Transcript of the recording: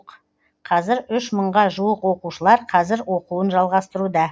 қазір үш мыңға жуық оқушылар қазір оқуын жалғастыруда